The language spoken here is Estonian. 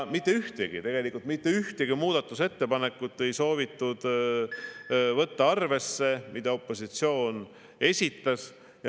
Tegelikult mitte ühtegi muudatusettepanekut, mis opositsioon esitas, ei soovitud võtta arvesse.